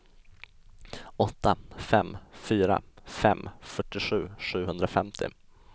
åtta fem fyra fem fyrtiosju sjuhundrafemtio